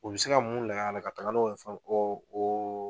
U bɛ se ka mun layɛ la ka taga n'o ye fo .